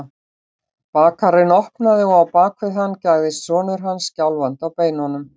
Bakarinn opnaði og á bak við hann gægðist sonur hans, skjálfandi á beinunum.